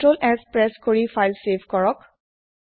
ctrls press কৰি file save কৰক